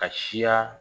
Ka siya